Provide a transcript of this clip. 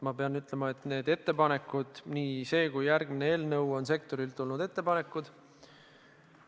Ma pean ütlema, et need ettepanekud – nii see kui ka järgmine eelnõu – on sektorilt tulnud ettepanekud.